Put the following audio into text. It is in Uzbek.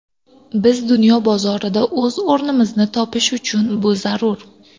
Biz dunyo bozorida o‘z o‘rnimizni topish uchun bu zarur.